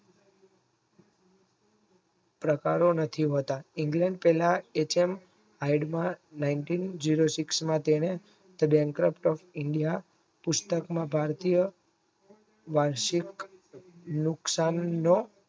પ્રકારો નથી હોતા ઇંગ્લેન્ડ તેના હાઇડના nineteen zero six તેને ઇન્ડિયા પુસ્તકમાં ભારતીય વર્શક મુક્ષ્મ